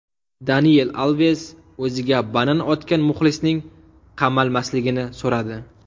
Daniel Alves o‘ziga banan otgan muxlisning qamalmasligini so‘radi.